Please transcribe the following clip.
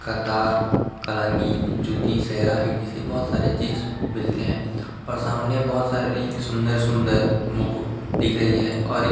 कतार कलांगी जूती सेहरा एति से बहोत सारी चीज मिलते है और सामने बहोत सारी सुंदर-सुंदर मुकुट दिख रही है और एक --